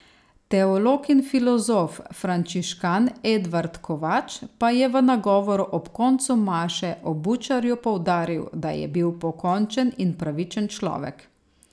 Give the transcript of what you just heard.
Teolog in filozof frančiškan Edvard Kovač pa je v nagovoru ob koncu maše o Bučarju poudaril, da je bil pokončen in pravičen človek.